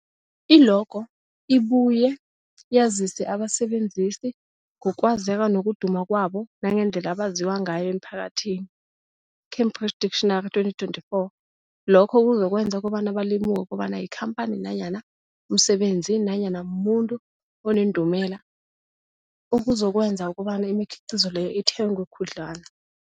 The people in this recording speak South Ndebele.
I-logo ibuye yazise abasebenzisi ngokwazeka nokuduma kwabo nangendlela abaziwa ngayo emphakathini, Cambridge Dictionary 2024. Lokho kuzokwenza kobana balemuke kobana yikhamphani nanyana umsebenzi nanyana umuntu onendumela, okuzokwenza kobana imikhiqhizo leyo ithengwe khudlwana.